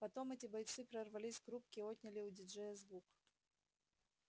потом эти бойцы прорвались к рубке и отняли у диджея звук